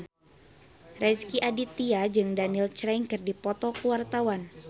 Rezky Aditya jeung Daniel Craig keur dipoto ku wartawan